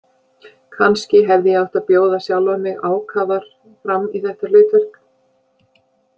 Kannski hefði ég átt að bjóða sjálfa mig ákafar fram í þetta hlutverk.